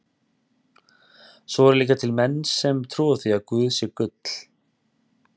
Svo eru líka til menn sem trúa því að guð sé gull.